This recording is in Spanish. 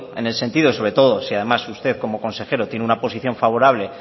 en ese sentido sobre todo si además usted como consejero tiene una posición favorable